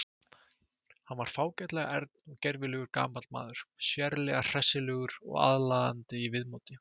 Hann var fágætlega ern og gervilegur gamall maður, sérlega hressilegur og aðlaðandi í viðmóti.